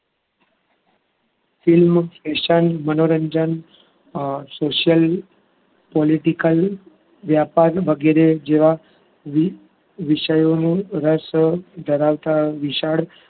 film, fashion, મનોરંજન, અમ social, political, વ્યાપાર વગેરે જેવા વિષયોનું રસ ધરાવતા વિશાળ